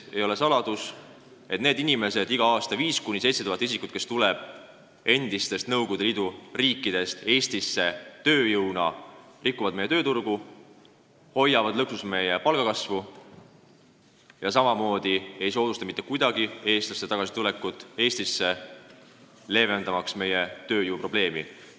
Ei ole saladus, et need inimesed, iga aasta 5000–7000 isikut, kes tulevad endistest Nõukogude Liidu vabariikidest Eestisse tööjõuna sisse, rikuvad meie tööturgu, hoiavad lõksus meie palgakasvu ega soodusta mitte kuidagi eestlaste tagasitulekut Eestisse, leevendamaks meie tööjõuprobleemi.